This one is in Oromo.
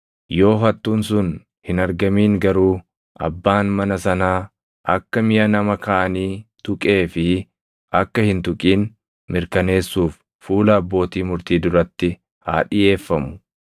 Yoo hattuun sun hin argamin garuu abbaan mana sanaa akka miʼa nama kaanii tuqee fi akka hin tuqin mirkaneessuuf fuula abbootii murtii duratti haa dhiʼeeffamu.